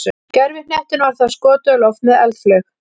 gervihnettinum var þá skotið á loft með eldflaug